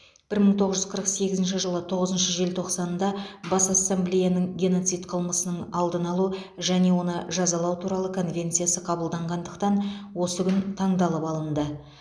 бір мың тоғыз жүз қырық сегізінші жылы тоғызыншы желтоқсанда бас ассамблеяның геноцид қылмысының алдын алу және оны жазалау туралы конвенциясы қабылданғандықтан осы күн таңдалып алынды